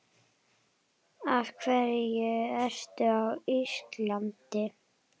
Af hverju ertu á Íslandi?